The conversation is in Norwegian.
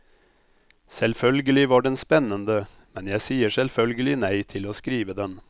Selvfølgelig var den spennende, men jeg sier selvfølgelig nei til å skrive den.